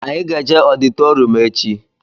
Anyị ga-eje ọditorịum echi